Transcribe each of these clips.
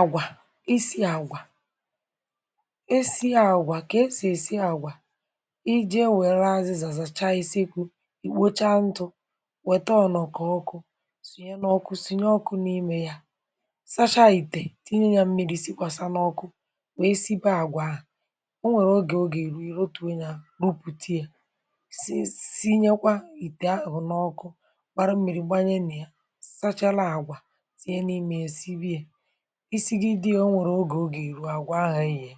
Àgwà — isi̇ àgwà, isi àgwà, kà esì èsi àgwà. Ije, wèrè azịzà zàcha iseku̇, ìkpocha ntụ̇, wètȧ ọ̀nọ̀kọ̀ ọkụ̇, sùnye n’ọkụ̇, sùnye ọkụ̇ n’imė yȧ. Sacha ìtè, tìnye yȧ mmiri̇, sikwàsa n’ọkụ, wèe sibe àgwà ahụ̀. O nwèrè ogè ogè ìrù, ị̀ rọtụ̇ghị̀a, rupùtiė, um sinyekwa ìtè ahụ̀ n’ọkụ̇. Gbara mmiri̇, gbanye nà ya, isi gị dị ya.O nwèrè ogè, o gà-èru àgwà ahụ̇. È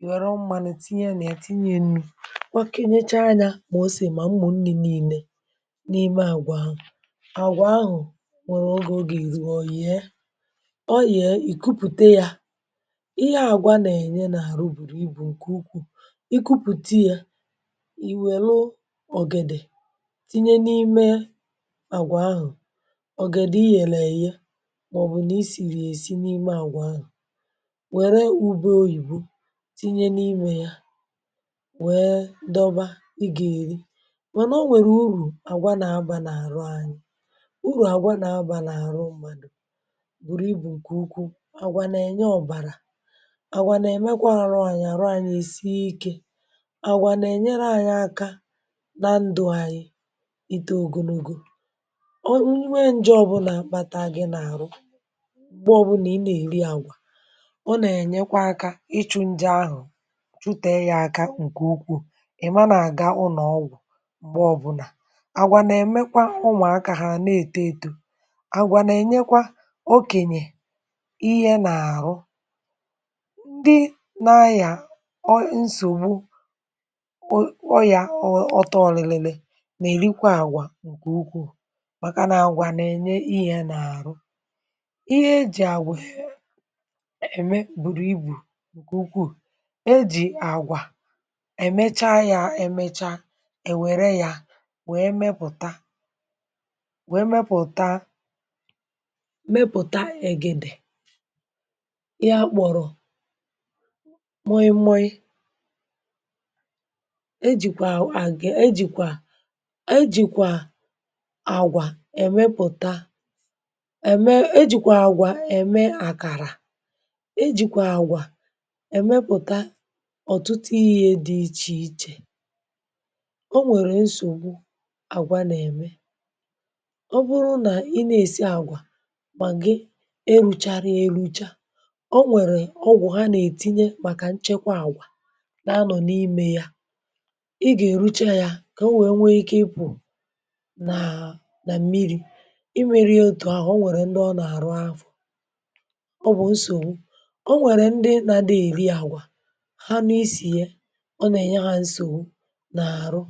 yè, wère mmȧnụ̇, tinye yȧ nà ètinye nnu̇; nwakȧenyecha anyȧ, mà ose, mà mmụ̀ nni̇ nii̇nė n’ime àgwà ahụ̀. Àgwà ahụ̀ nwèrè ogè ogè ìrù, ọ̀ yè, ì kupùte yȧ. Ihe àgwà nà-ènye n’àrụ bùrù ibù ǹkè ukwuu. Ikupùte yȧ, ì wère ọ̀gèdè tinye n’ime àgwà ahụ̀; ọ̀gèdè i yèrè, èye n’ime àgwà anyị̀. Wère ugbȧ oyìbo tinye n’imė ya, wẹẹ dọba. Ị gà-èri, mànà ọ nwẹ̀rẹ̀ urù àgwà nà-abà n’àrụ anyị̇. Urù àgwà nà-abà n’àrụ m̀madụ̇ bùrù ị bụ̀ ǹkẹ̀ ukwuu. Àgwà nà-ènyẹ ọ̀bàrà; àgwà nà-èmẹkwa àrụ anyị̇, àrụ anyị̇ è sie ike. Àgwà nà-ènyéré anyị̇ aka nà ndụ̇ anyị̇. Itȧ ògsonogo nwe nje ọ̀bụlà kpata gị nà àrụ, ǹgbe ọbụnà ị nà-èri àgwà, ọ nà-ènyekwa akȧ ịchụ̇ ndị ahụ̀, chụtẹ yȧ akȧ ǹkè ukwù. Ị̀, mana àga ụnọ̀ ọgwụ̀, m̀gbè ọbụnà àgwà nà-èmẹkwa ụmụ̀akȧ hà nà-èto eto. Àgwà nà-ènyekwa okènyè ihẹ n’àrụ, um ndị nȧ ayà. O nsògbu ọyà, ọtọ ọ̀lịlịlị nà-èrikwa àgwà ǹkè ukwù, màkà nà àgwà nà-ènye ihẹ n’àrụ. Ẹ̀mẹ bụrụ ibù ǹkè ukwuù. È jì àgwà èmecha ya, èmecha, è wère ya, wèe mepụ̀ta, wèe mepụ̀ta, mepụ̀ta ẹ̀gẹ̀dẹ̀ ya, kpọ̀rọ̀ moị moị. È jìkwà àgwà, ẹ̀jìkwà àgwà èmepụ̀ta; ejikwa àgwà èmepụ̀ta ọ̀tụtụ yȧ dị̇ ichè ichè.O nwèrè nsògbu àgwà nà-ème. Ọ bụrụ nà ị na-èsi àgwà, màgị̀ erùcharị ya, erucha, o nwèrè ọgwụ̀ hà nà-ètinye, um màkà nchekwa àgwà nà-anọ̀ n’imė ya. Ị gà-èruche ya, kà o nwèrè nwe ike, ịpụ̀ nà nà mmiri̇. I merie òtù ahụ̀, o nwèrè ndị ọ nà-àrụ afọ̀. Ọ nwẹ̀rẹ̀ ndị nȧ dị èri àgwà; hà nọ isì ya. Ọ nà-ènyẹ hȧ nsògbu nà-àrụ.